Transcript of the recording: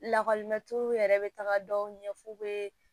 Lakɔlimɛtiriw yɛrɛ bɛ taga dɔw ɲɛ f'u bɛ